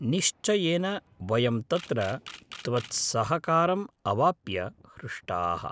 निश्चयेन, वयं तत्र त्वत्सहकारम् अवाप्य हृष्टाः।